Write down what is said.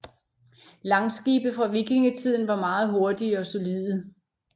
Langskibe fra vikingetiden var meget hurtige og solide